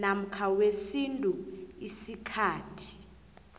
namkha wesintu isikhathi